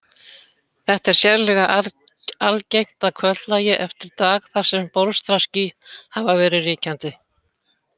Þetta er sérlega algengt að kvöldlagi eftir dag þar sem bólstraský hafa verið ríkjandi.